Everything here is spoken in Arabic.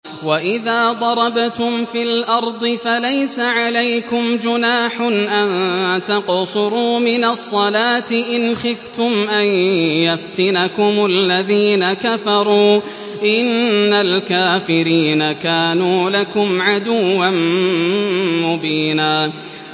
وَإِذَا ضَرَبْتُمْ فِي الْأَرْضِ فَلَيْسَ عَلَيْكُمْ جُنَاحٌ أَن تَقْصُرُوا مِنَ الصَّلَاةِ إِنْ خِفْتُمْ أَن يَفْتِنَكُمُ الَّذِينَ كَفَرُوا ۚ إِنَّ الْكَافِرِينَ كَانُوا لَكُمْ عَدُوًّا مُّبِينًا